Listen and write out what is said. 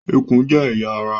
Ikùn jẹ́ ẹ̀yà ará